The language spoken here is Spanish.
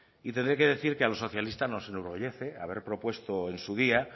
y tendré que decir que a los socialistas nos enorgullece haber propuesto en su día